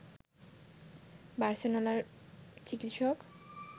বার্সেলোনার চিকিৎসক